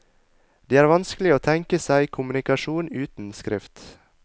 Det er vanskelig å tenke seg kommunikasjon uten skrift.